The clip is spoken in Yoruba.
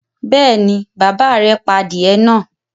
Bẹ́ẹ̀ ni, bàbá rẹ̀ pa adìẹ náà.